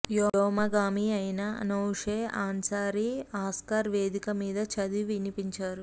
వ్యోమగామి అయిన Anousheh Ansari Oscar వేదిక మీద చదివి వినిపించారు